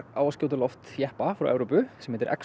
á að skjóta á loft jeppa frá Evrópu sem heitir